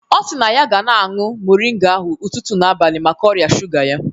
Ọ si na ọ ga na-añụ moringa ahụ ụtụtụ na abalị maka ọrịa shuga ya